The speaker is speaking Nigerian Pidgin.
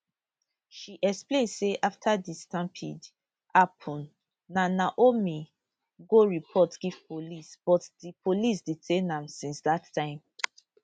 she explain say afta di stampede happun na naomi go report give police but di police detain am since dat time